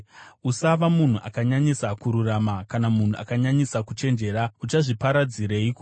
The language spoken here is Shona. Usava munhu akanyanyisa kururama, kana munhu akanyanyisa kuchenjera, uchazviparadzireiko?